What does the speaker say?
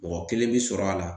Mɔgɔ kelen bɛ sɔrɔ a la